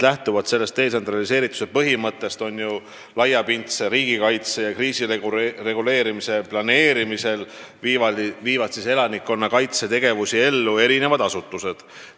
Lähtuvalt detsentraliseerituse põhimõttest viivad laiapindse riigikaitse strateegia raames elanikkonnakaitsega seotud tegevusi ellu erinevad asutused.